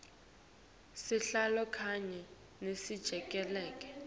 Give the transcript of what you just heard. sihlalo kanye nelisekela